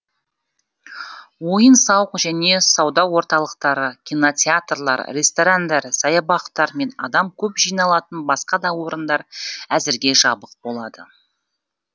ойын сауық және сауда орталықтары кинотеатрлар ресторандар саябақтар мен адам көп жиналатын басқа да орындар әзірге жабық болады